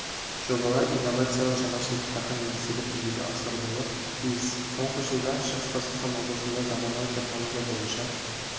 жобалар инновациялық жаңашылдықтарға негізделіп жүзеге асырылуы тиіс соңғы жылда шығыс қазақстан облысында заманауи технология бойынша